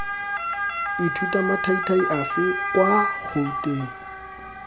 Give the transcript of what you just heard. ithuta mathaithai afe kwa gouteng